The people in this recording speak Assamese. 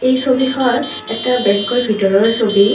এই ছবিখন এটা বেংকৰ ভিতৰৰ ছবি।